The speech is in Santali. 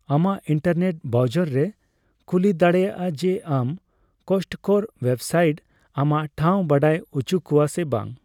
ᱟᱢᱟᱜ ᱤᱱᱴᱟᱨᱱᱮᱴ ᱵᱨᱟᱭᱡᱟᱨᱮ ᱠᱩᱞᱤ ᱫᱟᱲᱮᱭᱟᱜᱼᱟ ᱡᱮ ᱟᱢ ᱠᱚᱥᱴᱠᱳᱨ ᱳᱭᱮᱵᱥᱟᱭᱴ ᱟᱢᱟᱜ ᱴᱷᱟᱣ ᱵᱟᱰᱟᱭ ᱩᱪᱩ ᱠᱚᱣᱟ ᱥᱮ ᱵᱟᱝ᱾